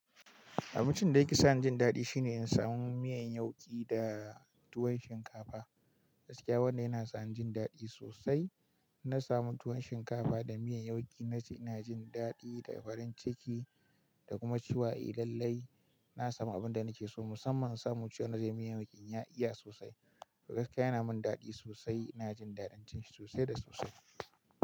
Abincin da yake sa ni jin daɗi shine in samu miyan yauƙi da tuwon shinkafa. Gaskiya wannan yana sa ni jin daɗi sosai. Na samu tuwon shinkafa da miyan yauƙi nace ina jin daɗi da farin ciki. Da kuma cewa idan lai na samu abin da nake so, musamman samun cewanda ze miyan yauƙin ya iya sosai. To gaskiya yana mun daɗi sosai. Ina jin daɗin cin shi sosai da sosai.